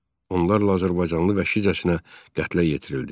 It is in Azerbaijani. Onlarla azərbaycanlı vəhşicəsinə qətlə yetirildi.